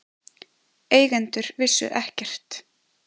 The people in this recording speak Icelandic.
Eigendur vissu ekkert